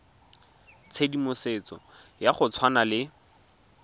tshedimosetso ya go tshwana le